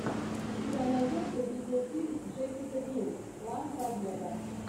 у тебя найдется видеофильм джессика бил план побега